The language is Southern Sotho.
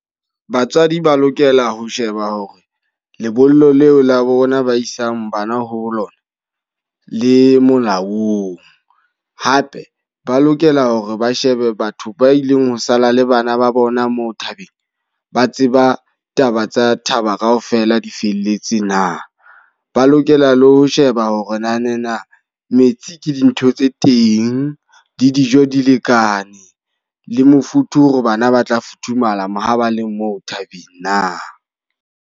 Batswadi ba lokela ho sheba hore lebollo leo la bona ba isang bana ho lona, le molaong. Hape ba lokela hore ba shebe batho ba ileng ho sala le bana ba bona moo thabeng, ba tseba taba tsa thaba ka ofela di felletse na. Ba lokela le ho sheba hore nanena metsi ke dintho tse teng, le dijo di lekane, le mofuthu hore bana ba tla futhumala ma ha ba le moo thabeng na.